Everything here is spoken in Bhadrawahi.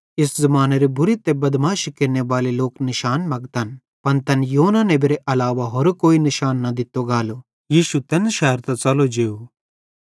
इस ज़मानेरे बुरे ते बदमाशी केरनेबाले लोक निशान मगतन पन तैन योना नेबेरे अलावा होरो कोई निशान न दित्तो गालो यीशु तैन शैरतां च़लो जेव